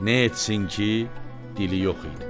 Ne etsin ki dili yox idi.